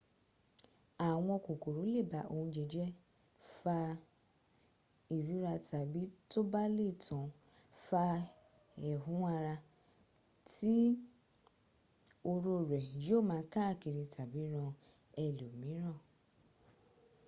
àwọn kòkòrò lè ba oúnjẹ jẹ́ fa ìríra tàbí tó bá le tán fa ẹ̀hún ara tí oró rẹ̀ yíó ma káàkiri tàbí ran ẹlòmíràn